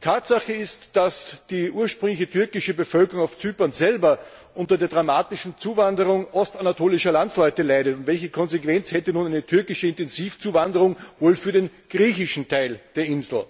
Tatsache ist, dass die ursprüngliche türkische Bevölkerung auf Zypern selber unter der dramatischen Zuwanderung ostanatolischer Landsleute leidet. Welche Konsequenz hätte nun eine türkische Intensivzuwanderung wohl für den griechischen Teil der Insel?